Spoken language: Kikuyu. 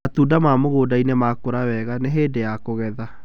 Matunda ma mĩgũnda-inĩ nĩ makũrũ wega, nĩ hĩndĩ ya kũgetha.